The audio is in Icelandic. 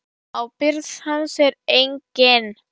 Ábyrgð hans er engin.